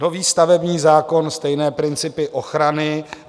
Nový stavební zákon - stejné principy ochrany.